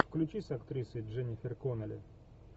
включи с актрисой дженнифер коннелли